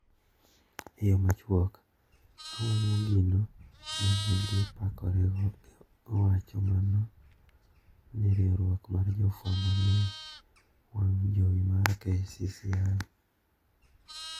" E yo machuok, awang`o gino ma ne gipakorego, owacho mano ne riwruok mar jofwamb ne wang` jowi mar KCCI.